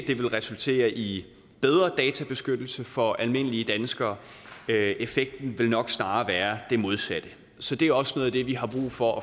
det vil resultere i bedre databeskyttelse for almindelige danskere effekten vil nok snarere være det modsatte så det er også noget af det vi har brug for